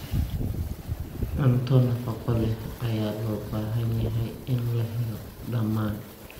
Cunto nafaqo leh ayaa loo baahan yahay in la helo dhammaan.